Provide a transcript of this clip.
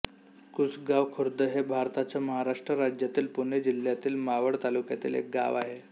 कुसगाव खुर्द हे भारताच्या महाराष्ट्र राज्यातील पुणे जिल्ह्यातील मावळ तालुक्यातील एक गाव आहे